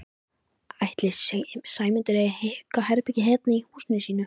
Ætli Sæmundur eigi aukaherbergi hérna í húsinu sínu?